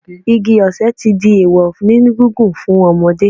Igi ọ̀sẹ̀ ti di èèwọ̀ ní gígùn fún ọmọdé